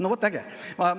No vot, äge!